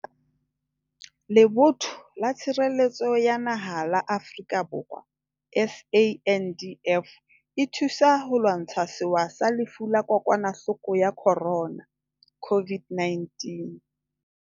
Lebotho la Tshireletso ya Naha la Afrika Borwa, SANDF, e thusa ho lwantsha sewa sa Lefu la Kokwa nahloko ya Corona, COVID-19.